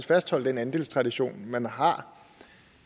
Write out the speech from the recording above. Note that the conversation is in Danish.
fastholde den andelstradition man har